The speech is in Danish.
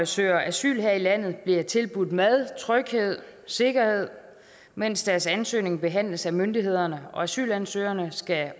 søger asyl her i landet bliver tilbudt mad tryghed sikkerhed mens deres ansøgning behandles af myndighederne og asylansøgerne skal